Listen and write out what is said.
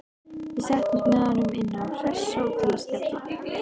Við settumst með honum inn á Hressó til að spjalla.